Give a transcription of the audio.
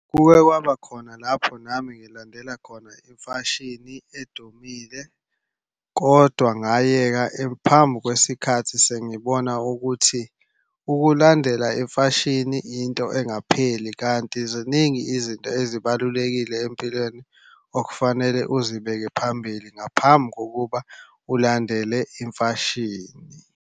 Kuke kwaba khona lapho nami ngilandela khona imfashini edumile kodwa ngayeka phambi kwesikhathi sengibona ukuthi ukulandela imfashini yinto engapheli, kanti ziningi izinto ezibalulekile empilweni okufanele uzibeke phambili ngaphambi kokuba ulandele imfashini.